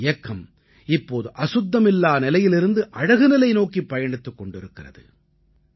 இந்த இயக்கம் இப்போது அசுத்தமில்லா நிலையிலிருந்து அழகுநிலை நோக்கிப் பயணித்துக் கொண்டிருக்கிறது